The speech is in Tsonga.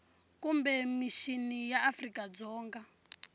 kumbe mixini ya afrika dzonga